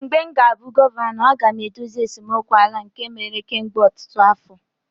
mgbe m ga-abụ gọvanọ, m ga-edozi esemokwu ala a nke mere kemgbe ọtụtụ afọ